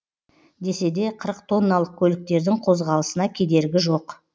десе де қырық тонналық көліктердің қозғалысына кедергі жоқ